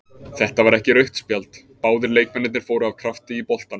Þetta var ekki rautt spjald, báðir leikmennirnir fóru af krafti í boltann.